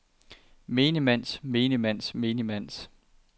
menigmands menigmands menigmands